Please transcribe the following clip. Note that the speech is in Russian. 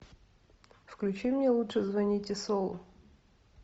включи мне лучше звоните солу